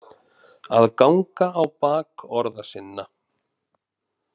Að ganga á bak orða sinna